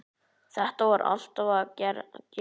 Þetta var alltaf að gerast.